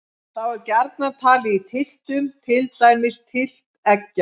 Þá er gjarnan talið í tylftum, til dæmis tylft eggja.